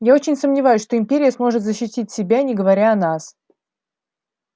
я очень сомневаюсь что империя сможет защитить себя не говоря о нас